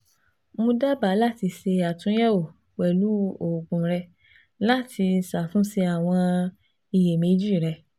Mo daba lati ṣe atunyẹwo pẹlu oogun rẹ lati ṣatunṣe awọn iyemeji rẹ